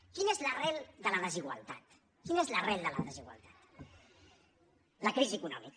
quina és l’arrel de la desigualtat quina és l’arrel de la desigualtat la crisi econòmica